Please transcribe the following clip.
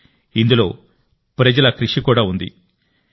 ఇందులో ప్రజల అమృతం కృషి కూడా ఉంది కాబట్టి